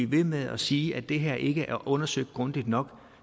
ved med at sige at det her ikke er undersøgt grundigt nok